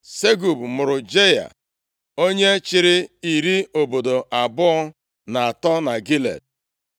Segub mụrụ Jaịa, onye chịrị iri obodo abụọ na atọ na Gilead.